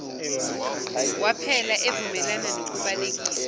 waphela evumelana nokubalekiswa